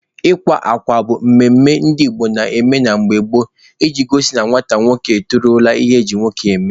Ịwa akwa bụ emume ndị Igbo na-eme mgbe gboo iji gosi na nwata nwoke etozuola ihe eji nwoke eme.